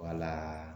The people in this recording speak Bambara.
Wala